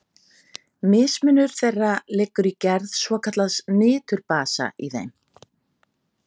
Mismunur þeirra liggur í gerð svokallaðs niturbasa í þeim.